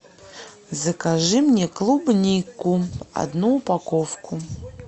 закажи мне клубнику одну упаковку